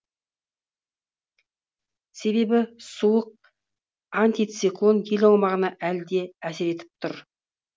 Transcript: себебі суық антициклон ел аумағына әлі де әсер етіп тұр